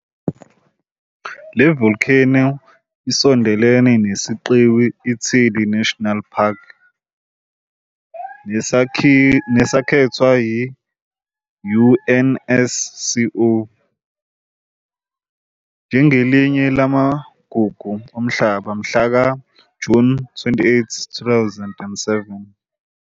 Le volcano isondelene nesiqiwi iThidi National Park, nesakhethwa yi-UNESCO njengelinye laMagugu oMhlaba mhlaka June 28, 2007.